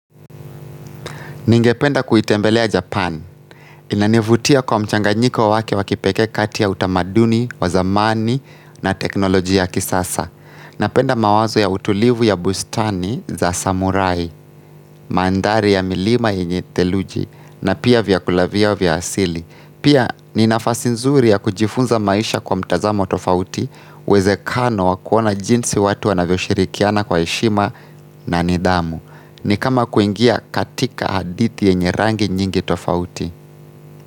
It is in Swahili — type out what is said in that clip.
Ningependa kuitembelea Japan. Inanivutia kwa mchanganyiko wake wa kipekee kati ya utamaduni, wa zamani na teknoloji ya kisasa. Napenda mawazo ya utulivu ya bustani za samurai, mandhari ya milima yenye theluji, na pia vyakula vyao vya asili. Pia ni nafasi nzuri ya kujifunza maisha kwa mtazamo tofauti, uwezekano wa kuona jinsi watu wanavyo shirikiana kwa heshima na ni dhamu. Ni kama kuingia katika hadithi yenye rangi nyingi tofauti.